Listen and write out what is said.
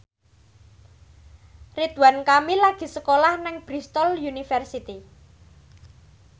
Ridwan Kamil lagi sekolah nang Bristol university